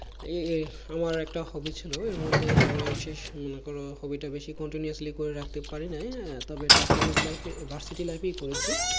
এই এই আমার একটা hobby ছিল এর মধ্যে শেষ মনে করো hobby টা বেশি continuously করে রাখতে পারি নাই তবে এটা college life এ বা city life এই করেছি